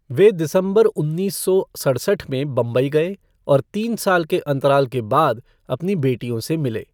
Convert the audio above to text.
वे दिसंबर उन्नीस सौ सड़सठ में बम्बई गए और तीन साल के अंतराल के बाद अपनी बेटियों से मिले।